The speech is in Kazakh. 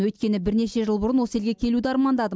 өйткені бірнеше жыл бұрын осы елге келуді армандадым